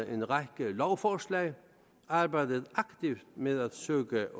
en række lovforslag arbejdet aktivt med at søge at øge